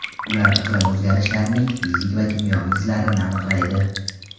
Ular iqlim o‘zgarishlarining fizik va kimyoviy izlarini aniqlaydi.